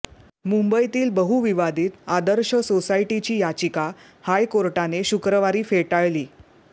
मुंबईतील बहुविवादीत आदर्श सोसायटीची याचिका हायकोर्टाने शुक्रवारी फेटाळली